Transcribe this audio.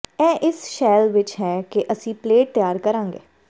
ਇਹ ਇਸ ਸ਼ੈਲ ਵਿਚ ਹੈ ਕਿ ਅਸੀਂ ਪਲੇਟ ਤਿਆਰ ਕਰਾਂਗੇ